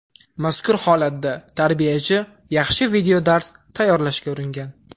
Mazkur holatda tarbiyachi yaxshi videodars tayyorlashga uringan.